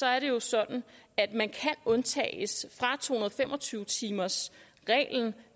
er det jo sådan at man kan undtages fra to hundrede og fem og tyve timersreglen